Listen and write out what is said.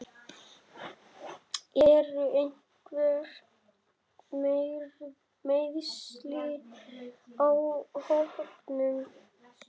Eru einhver meiðsli á hópnum?